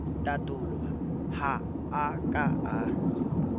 tatolo ha a ka a